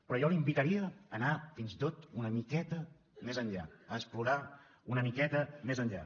però jo l’invitaria a anar fins i tot una miqueta més enllà a explorar una miqueta més enllà